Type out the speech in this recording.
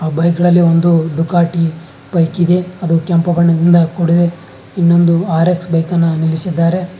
ಆ ಬೈಕ್ ಗಳಲ್ಲಿ ಒಂದು ಡುಕಾಟಿ ಬೈಕ್ ಇದೆ ಅದು ಕೆಂಪು ಬಣ್ಣದಿಂದ ಕೂಡಿದೆ ಇನ್ನೊಂದು ಆರ್ ಎಕ್ಸ್ ಬೈಕ್ ಅನ್ನ ನಿಲ್ಲಿಸಿದ್ದಾರೆ.